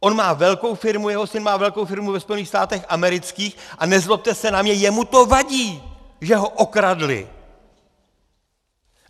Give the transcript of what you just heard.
On má velkou firmu, jeho syn má velkou firmu ve Spojených státech amerických, a nezlobte se na mě, jemu to vadí, že ho okradli.